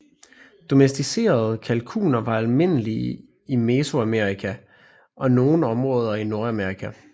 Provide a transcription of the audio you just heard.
Domesticerede kalkuner var almindelige i Mesoamerika og nogle områder i Nordamerika